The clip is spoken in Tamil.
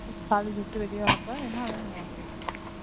college விட்டு வெளிய வரப்ப என்ன வேணும் உனக்கு